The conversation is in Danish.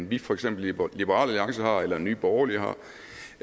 vi for eksempel i liberal alliance har eller nye borgerlige har